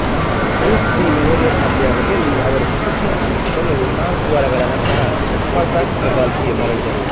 Woods the memorial ಪಂದ್ಯಾವಳಿಯಲ್ಲಿ ಅವರ ಪ್ರಶಸ್ತಿಯನ್ನು ಉಳಿಸಿಕೊಳ್ಳಲು ನಾಲ್ಕುವಾರಗಳ ನಂತರ ಸ್ಪರ್ಧಾತ್ಮಕ ಗಾಲ್ಫ್ ಗೆ ಮರಳಿದರು